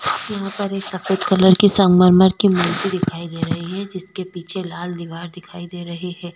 यहां पर एक सफेद कलर की संगमरमर की मूर्ति दिखाई दे रही है जिसके पीछे लाल दीवार दिखाई दे रही है।